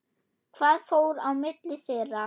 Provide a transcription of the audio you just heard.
Hvað fór á milli þeirra?